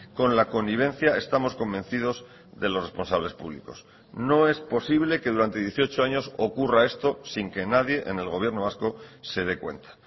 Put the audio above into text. con la connivencia estamos convencidos de los responsables públicos no es posible que durante dieciocho años ocurra esto sin que nadie en el gobierno vasco se dé cuenta